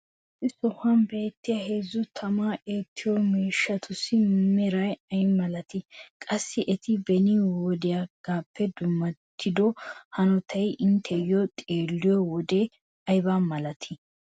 issi sohuwan beettiya heezzu tamaa eettiyo miishshatussi meray ayi malattii? qassi eti beni wodeegaappe dummattido hanottay inteyoo xeelliyo wode ayba malattii?